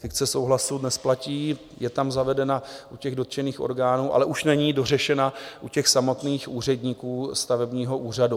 Fikce souhlasu dnes platí, je tam zavedena u těch dotčených orgánů, ale už není dořešena u těch samotných úředníků stavebního úřadu.